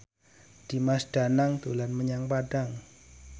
Dimas Danang dolan menyang Padang